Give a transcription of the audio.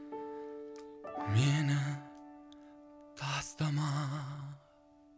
мені тастама